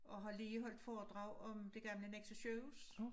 Og har lige holdt foredrag om det gamle Nexø sygehus